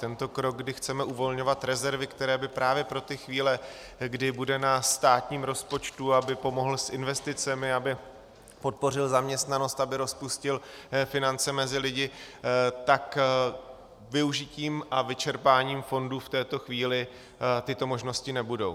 Tento krok, kdy chceme uvolňovat rezervy, které by právě pro ty chvíle, kdy bude na státním rozpočtu, aby pomohl s investicemi, aby podpořil zaměstnanost, aby rozpustil finance mezi lidi, tak využitím a vyčerpáním fondu v tuto chvíli tyto možnosti nebudou.